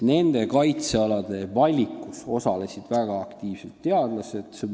Kaitsealade valikus osalesid väga aktiivselt teadlased.